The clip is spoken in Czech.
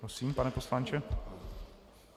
Prosím, pane poslanče.